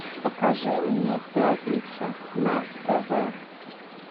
покажи мне пятница на тв